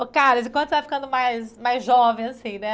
Ô, Carlos, e quando você vai ficando mais jovem, assim, né?